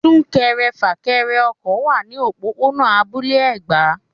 Sún-kẹrẹ-fà-kẹrẹ ọkọ̀ wá ní òpópónà abúlé Ẹ̀gbá.